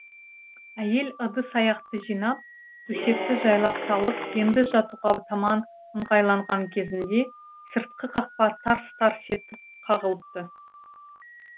әйел ыдыс аяқты жинап төсекті жайлап салып енді жатуға таман ыңғайланған кезінде сыртқы қақпа тарс тарс етіп қағылыпты